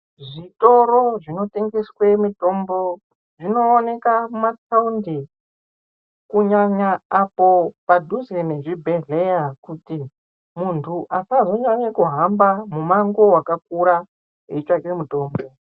Zvikoro zvinotengeswe mitombo, zvinooneka mumathaundi, kunyanya apo padhuze nezvibhedhleya kuti, muntu asazonyanye kuhamba mumango wakakura, eitsvake mitombo.